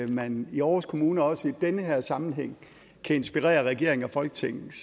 man i aarhus kommune også i den her sammenhæng kan inspirere regeringen og folketinget